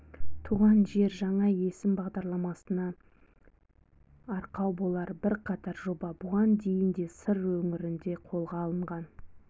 туған жер жаңа есім бағдарламасына арқау болар бірқатар жоба бұған дейін де сыр өңірінде қолға алынған